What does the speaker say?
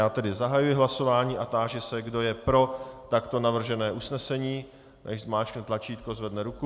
Já tedy zahajuji hlasování a táži se, kdo je pro takto navržené usnesení, nechť zmáčkne tlačítko, zvedne ruku.